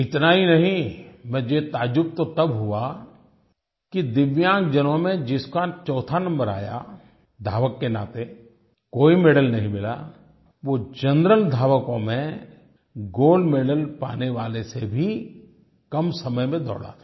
इतना ही नहीं मुझे ताज्जुब तो तब हुआ कि दिव्यांगजनों में जिसका चौथा नंबर आया धावक के नाते कोई मेडल नहीं मिला वो जनरल धावकों में गोल्ड मेडल पाने वाले से भी कम समय में दौड़ा था